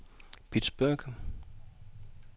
Pittsburgh